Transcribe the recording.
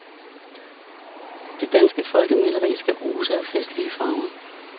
Det danske folkemaleri skal ose af festlige farver.